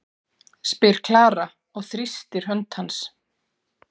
spyr Klara og þrýstir hönd hans.